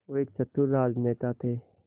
वो एक चतुर राजनेता थे